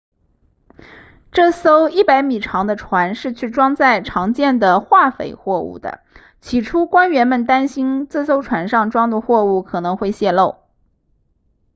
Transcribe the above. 这艘100米长的船是去装载常见的化肥货物的起初官员们担心这艘船上装的货物可能会泄漏